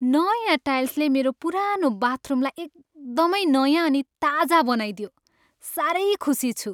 नयाँ टाइल्सले मेरो पुरानो बाथरुमलाई एकदमै नयाँ अनि ताजा बनाइदियो। साह्रै खुसी छु।